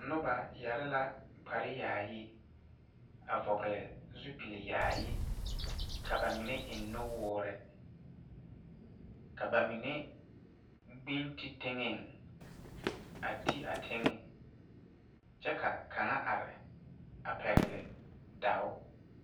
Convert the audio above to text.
Noba yeɛre la kpar yaayi, a vɔgeli zupli yaayi, ka ba mine eŋ nuwoɔre, ka ba mine gbiŋ ti teŋe, a ti a teŋe kyɛ ka kaŋa are a pɛgele daao